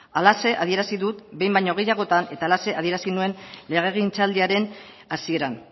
halaxe adierazi dut behin baino gehiagotan eta halaxe adierazi nuen legegintzaldiaren hasieran